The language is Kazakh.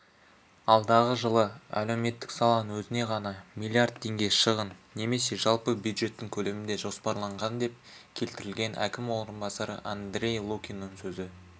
алдағы жылы әлеуметтік саланың өзіне ғана миллиард теңге шығын немесе жалпы бюджеттің көлемінде жоспарланған деп келтірілген әкім орынбасары андрей лукиннің сөзі